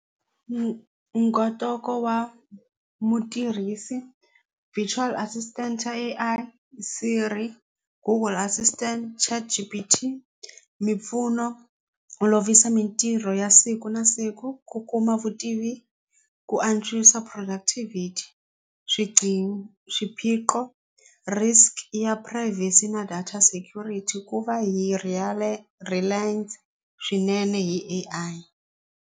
wa mutirhisi virtual assistant xa A_I Siri Google assistant ChatGBT mimpfuno olovisa mitirho ya siku na siku ku kuma vutivi ku antswisa productivity swiphiqo risk ya privacy na data security ku va hi hi A_I.